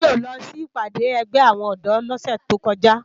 Toyin ó lò si ipàdé ègbè áwòn òdò lòsè tókòjá